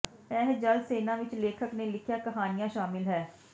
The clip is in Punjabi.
ਇਹ ਜਲ ਸੈਨਾ ਵਿਚ ਲੇਖਕ ਨੇ ਲਿਖਿਆ ਕਹਾਣੀਆ ਸ਼ਾਮਲ ਹੈ